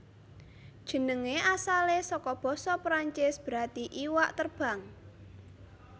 Jenengé asalé saka basa Perancis berarti iwak terbang